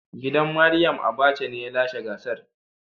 Gidan Mariam Abacha ne ya lashe gasar.